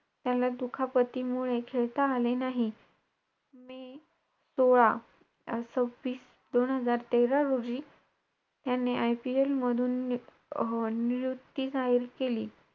तेव्हा अस वाटत की select अस व्हाव अस वाट~